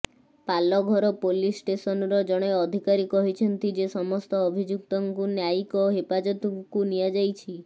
Palghar police ଷ୍ଟେସନର ଜଣେ ଅଧିକାରୀ କହିଛନ୍ତି ଯେ ସମସ୍ତ ଅଭିଯୁକ୍ତଙ୍କୁ ନ୍ୟାୟିକ ହେପାଜତକୁ ନିଆଯାଇଛି